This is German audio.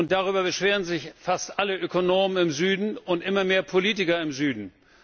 Darüber beschweren sich fast alle Ökonomen im Süden und immer mehr Politiker im Süden.